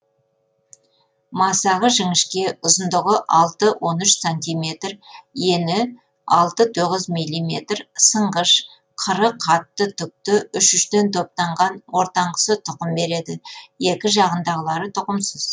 масағы жіңішке ұзындығы алты он үш сантиметр ені алты тоғыз милиметр сынғыш қыры қатты түкті үш үштен топтанған ортанғысы тұқым береді екі жағындағылары тұқымсыз